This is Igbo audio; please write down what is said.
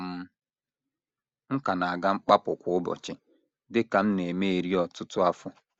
um M ka na - aga mkpapụ kwa ụbọchị, dị ka m na - eme eri ọtụtụ afọ.